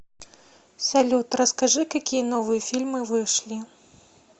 салют расскажи какие новые фильмы вышли